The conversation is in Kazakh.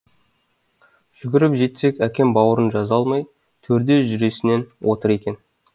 жүгіріп жетсек әкем бауырын жаза алмай төрде жүресінен отыр екен